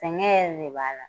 Sɛngɛn yɛrɛ de b'a la.